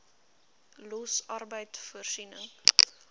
los arbeid voorsiening